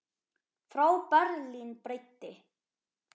Frá Berlín breiddi